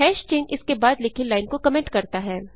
चिन्ह इसके बाद लिखी लाइन को कमेंट करता है